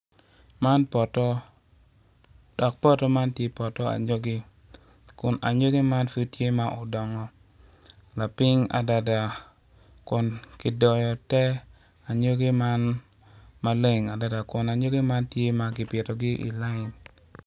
Man poto dok poto man tye poto anyogi kun anyogi man pud tye ma odongo lapiny adada kun kidoyo te anyogi man maleng adada kun anyogi man tye ma kipitogi i layin.